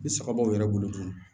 Ni saga b'aw yɛrɛ bolo dun